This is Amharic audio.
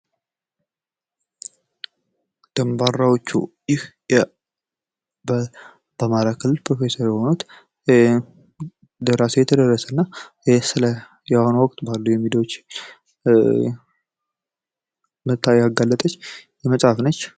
ደንባራዎቹ ይህ በአማራ ክልል ፕሮፌሰር የሆኑት ደራሲ የተደረሰ እና ስለ የአሁኑ ወቅት ባሉ ሚዲያዎች መጥታ ያጋለጠች መጽሃፍት ነች።